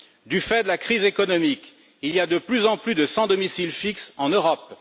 Du fait de la crise économique, il y a de plus en plus de sans domicile fixe en Europe.